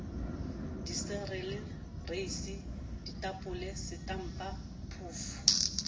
dicereale reisi ditapole setampa phoofo